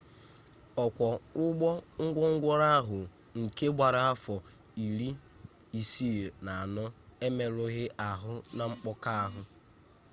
ọkwọ ụgbọ gwongworo ahụ nke gbara afọ 64 emerụghị ahụ na mkpọka ahụ